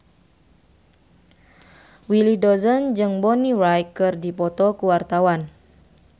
Willy Dozan jeung Bonnie Wright keur dipoto ku wartawan